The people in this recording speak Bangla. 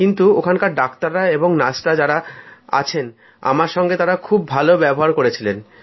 কিন্তু ওখানকার ডাক্তার এবং নার্স যাঁরা আছেন আমার সঙ্গে তাঁরা খুব ভালো ব্যবহার করেছিলেন